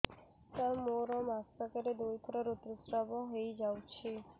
ସାର ମୋର ମାସକରେ ଦୁଇଥର ଋତୁସ୍ରାବ ହୋଇଯାଉଛି